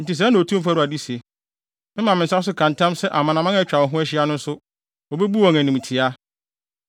Enti sɛɛ na Otumfo Awurade se: Mema me nsa so ka ntam sɛ amanaman a atwa wo ho ahyia no nso, wobebu wɔn animtiaa.